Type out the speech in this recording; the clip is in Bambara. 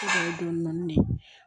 ne ye